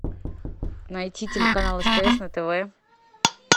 найти телеканал стс на тв